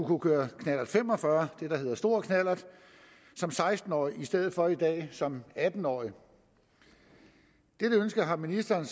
kunne køre knallert fem og fyrre det der hedder stor knallert som seksten årige i stedet for som i dag som atten årige dette ønske har ministeren